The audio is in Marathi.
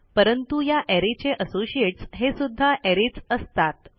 परंतु या अरे चे असोसिएट्स हे सुध्दा arrayच असतात